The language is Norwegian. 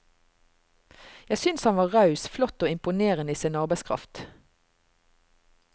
Jeg synes han var raus, flott og imponerende i sin arbeidskraft.